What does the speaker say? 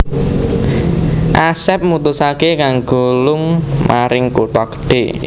Asep mutusaké kanggo lung maring kutha gedhe